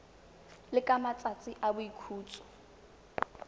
le ka matsatsi a boikhutso